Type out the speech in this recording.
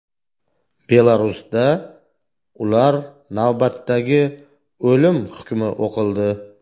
Belarusda ular navbatdagi o‘lim hukmi o‘qildi.